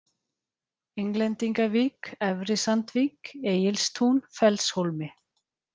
Englendingavík, Efri-Sandvík, Egilstún, Fellshólmi